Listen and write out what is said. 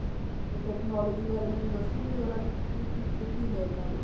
ਤੇ technology ਜੀ ਬਾਰੇ ਮੈਨੂੰ ਦੱਸੋਗੇ ਜਰਾ ਵੀ ਕੀ ਟਿੱਚੇ ਕੀ ਨੇ ਇਹਨਾ ਦੇ